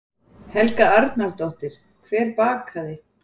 Helga Arnardóttir: Hver bakaði?